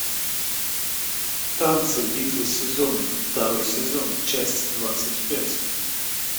танцы битвы сезонов второй сезон часть двадцать пять